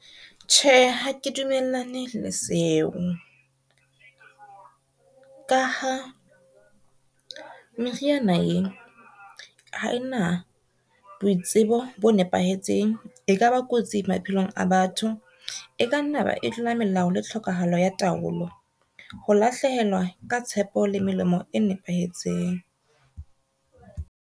Tjhe, ha ke dumellane le seo. Ka ha meriana ee ha ena boitsebo bo nepahetseng, e kaba kotsi maphelong a batho, e ka nna ba e tlola melao le tlhokahalo ya taolo ho lahlehelwa ka tshepo le melemo e nepahetseng.